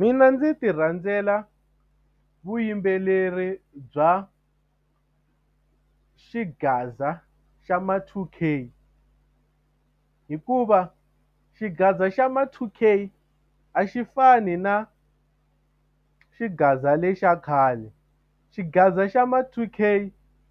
Mina ndzi ti rhandzela vuyimbeleri bya xigaza xa ma-two K hikuva xigaza xa ma-two K a xi fani na xigaza lexa khale xigaza xa ma-two K